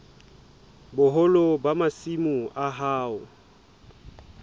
boholo ba masimo a hao